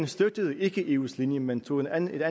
støttede eus linje men tog et andet